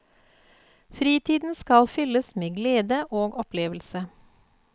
Fritiden skal fylles med glede og opplevelse.